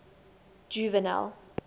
juvenal